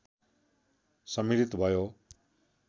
सम्मिलित भयो